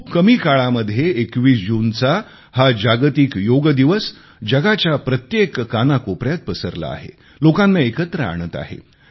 खूप कमी काळामध्ये 21 जूनचा हा जागतिक योग दिवस जगाच्या प्रत्येक कानाकोपऱ्यात पसरला आहे लोकांना एकत्र आणत आहे